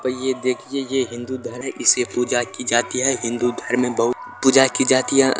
तो देखिए ये हिंदू धर्म इसे पूजा की जाती है हिंदू धर्म में बहुत पूजा की जाती है।